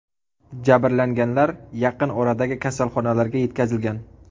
Jabrlanganlar yaqin oradagi kasalxonalarga yetkazilgan.